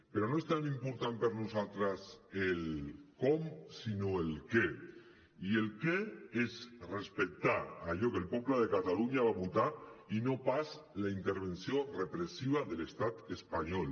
però no és tan important per nosaltres el com sinó el què i el què és respectar allò que el poble de catalunya va votar i no pas la intervenció repressiva de l’estat espanyol